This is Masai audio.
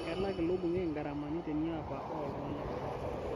Kelak ilo bungei ngaramani teniaba oo ltung'anak